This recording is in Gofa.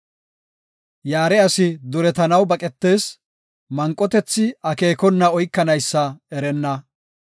Yaare asi duretanaw baqetees; manqotethi akeekona oykanaysa erenna.